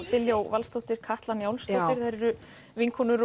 Diljá Valsdóttir og Katla Njálsdóttir eru vinkonur